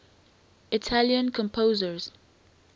italian composers